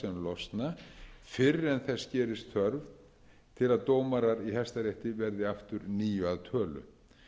losna fyrr en þess gerist þörf fyrr en dómarar í hæstarétti verði aftur níu að tölu